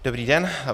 Dobrý den.